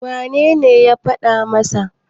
wanene ya faɗa masa?